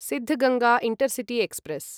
Siddaganga intercity express